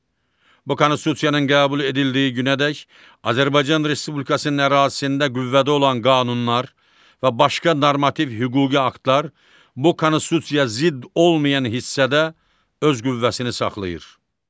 Bu Konstitusiyanın qəbul edildiyi günədək Azərbaycan Respublikasının ərazisində qüvvədə olan qanunlar və başqa normativ hüquqi aktlar bu Konstitusiyaya zidd olmayan hissədə öz qüvvəsini saxlayır.